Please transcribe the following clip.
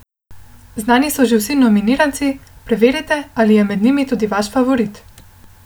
Znani so že vsi nominiranci, preverite, ali je med njimi tudi vaš favorit!